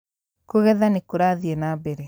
Kũgetha nĩ kũrathiĩ na mbere.